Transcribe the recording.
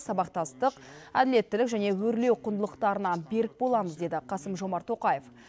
сабақтастық әділеттілік және өрлеу құндылықтарына берік боламыз деді қасым жомарт тоқаев